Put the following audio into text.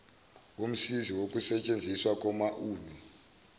womsizi wokusetshenziswa komaulu